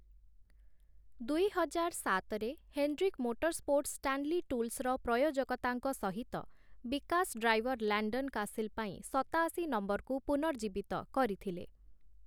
ଦୁଇହଜାର ସାତରେ, Hendrick Motorsports Stanley ଟୁଲ୍ସର ପ୍ରୟୋଜକତାଙ୍କ ସହିତ ବିକାଶ ଡ୍ରାଇଭର ଲାଣ୍ଡନ୍ କାସିଲ୍ ପାଇଁ ସତାଅଶି ନମ୍ବରକୁ ପୁନର୍ଜୀବିତ କରିଥିଲେ ।